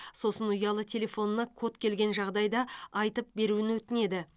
сосын ұялы телефонына код келген жағдайда айтып беруін өтінеді